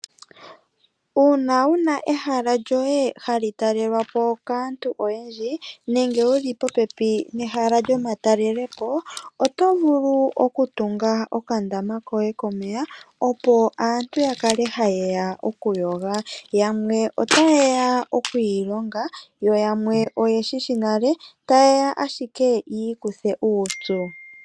Uuna wuna ehala lyoye hali talelwa po kaantu oyendji nenge wuli popepi nehala lyomatalelepo, oto vulu oku tunga okandama koye komeya, opoaantu ya kale ha yeya oku yoga, yamwe ota ye ya okwiilonga, yo yamwe oye shishi nale, ta ye ya ashike yi ikuthe uupyu.